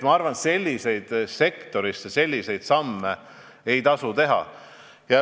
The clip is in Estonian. Ma arvan, et selliseid tõstmisi ei tasu teha.